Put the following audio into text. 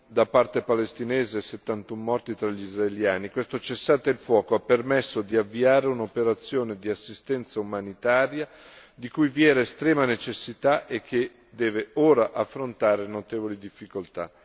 da parte palestinese e 71 morti tra gli israeliani, questo cessate il fuoco ha permesso di avviare un'operazione di assistenza umanitaria di cui vi era estrema necessità e che deve ora affrontare notevoli difficoltà.